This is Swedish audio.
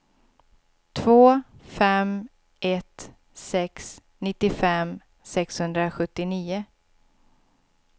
två fem ett sex nittiofem sexhundrasjuttionio